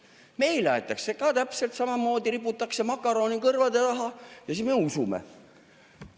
Meile ka riputatakse makarone kõrvade taha ja siis me usume.